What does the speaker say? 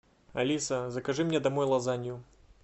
алиса закажи мне домой лазанью